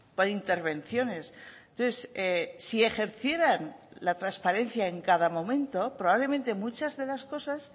por intervenciones entonces si ejercieran la transparencia en cada momento probablemente muchas de las cosas